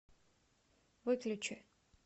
выключи